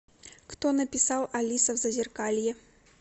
кто написал алиса в зазеркалье